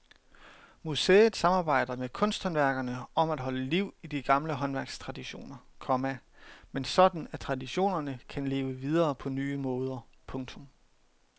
Museet samarbejder med kunsthåndværkerne om at holde liv i de gamle håndværkstraditioner, komma men sådan at traditionerne kan leve videre på nye måder. punktum